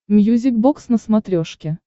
мьюзик бокс на смотрешке